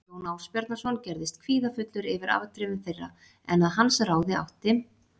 Jón Ásbjarnarson gerðist kvíðafullur yfir afdrifum þeirra en að hans ráði átti